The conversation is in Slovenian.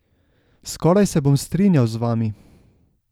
Skoraj se bom strinjal z vami.